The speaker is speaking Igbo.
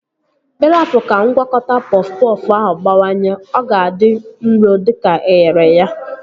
Ị rapu ka ngwakọta pọf pọfụ ahụ gbawanye, ọ ga-adị nro dịka eghere ya